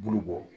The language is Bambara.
Bulu bɔ